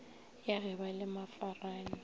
ya ge ba le mafarane